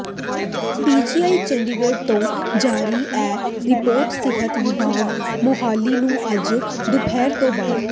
PGI Chandigarh ਤੋਂ ਜਾਰੀ ਇਹ ਰਿਪੋਰਟ ਸਿਹਤ ਵਿਭਾਗ ਮੋਹਾਲੀ ਨੂੰ ਅੱਜ ਦੁਪਹਿਰ ਤੋਂ ਬਾਅਦ